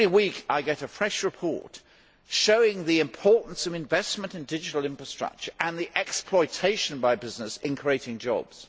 Every week, I get a fresh report showing the importance of investment in digital infrastructure and its exploitation by business in creating jobs.